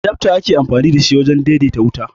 Adafta ake amfani da shi wurin daidaita wuta